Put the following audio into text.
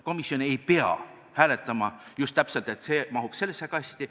Komisjon ei pea hääletama just täpselt nii, et üks või teine mahuks sellesse kasti.